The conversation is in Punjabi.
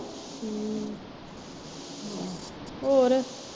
ਹਮ ਹੋਰ।